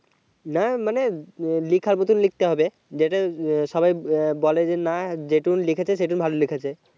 না মানে লেখার মতো লিখতে হবে যাতে সবাই বলে না যেটুকুন লিখেছে সেটুকুন ভালো লিখেছে